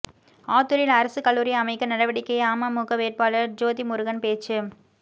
ஆத்தூரில் அரசு கல்லூரி அமைக்க நடவடிக்கை அமமுக வேட்பாளர் ேஜாதிமுருகன் பேச்சு